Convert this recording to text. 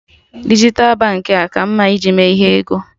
Dijital Baankị a ka mma ị ji eme ihe ego?